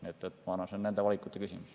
Ma arvan, et see on nende valikute küsimus.